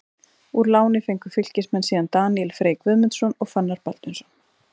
Úr láni fengu Fylkismenn síðan Daníel Frey Guðmundsson og Fannar Baldvinsson.